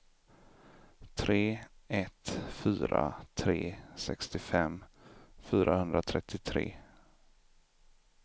tre ett fyra tre sextiofem fyrahundratrettiotre